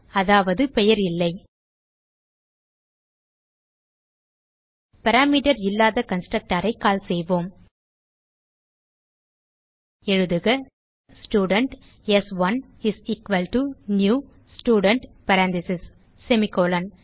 அதாவது பெயர் இல்லை பாராமீட்டர் இல்லாத கன்ஸ்ட்ரக்டர் ஐ கால் செய்வோம் எழுதுக student s one is equal to new student parenthesis semicolon